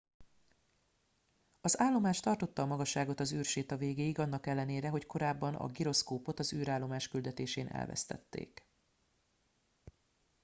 az állomás tartotta a magasságot az űrséta végéig annak ellenére hogy korábban a giroszkópot az űrállomás küldetésén elvesztették